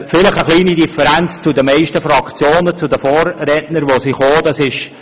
Wir haben vielleicht eine kleine Differenz zu den Voten meiner Vorredner aus den Fraktionen.